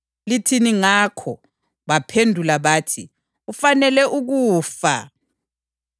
Lithini ngakho?” Baphendula bathi, “Ufanele ukufa.”